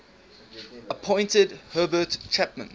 appointed herbert chapman